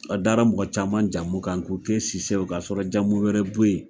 A dara mɔgɔ caman jamu kan k'o kɛ Sisɛ ye ka sɔrɔ jamu wɛrɛ bɛ yen.